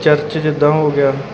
church ਜਿੱਦਾਂ ਹੋ ਗਿਆ --